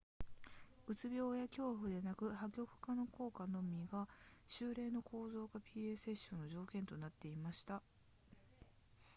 うつ病や恐怖ではなく破局化の効果のみが週例の構造化 pa セッションの条件となっていました